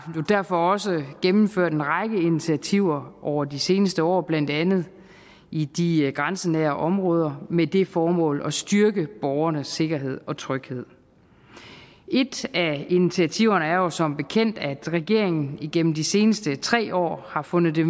derfor også gennemført en række initiativer over de seneste år blandt andet i de grænsenære områder med det formål at styrke borgernes sikkerhed og tryghed et af initiativerne er jo som bekendt at regeringen gennem de seneste tre år har fundet det